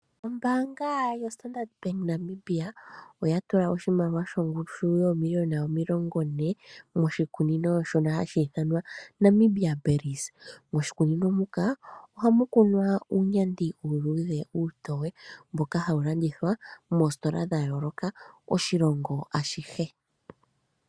Ombaanga yo Standard Bank Namibia tula oshimaliwa shongushu yoomiliyona omilongo ne, moshikunino shino hashi ithanwa Namibia Berries, moshikunino muka ohamu kunwa uunyandi uuludhe uutowe mboka hawu landithwa moositola dha yooloka oshilongo ashihe.